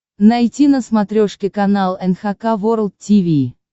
найти на смотрешке канал эн эйч кей волд ти ви